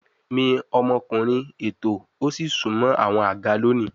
Mi omokunrin ètò o si sunmọ awọn aga loni